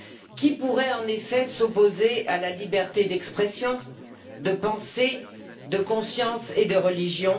Qui pourrait en effet s'opposer à la liberté d'expression, de pensée, de conscience et de religion?